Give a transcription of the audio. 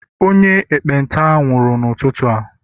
onye ekpenta nwuru n'ututu a